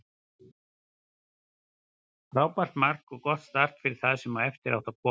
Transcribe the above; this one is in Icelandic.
Frábært mark og gott start fyrir það sem eftir átti að koma.